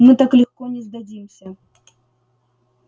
мы так легко не сдадимся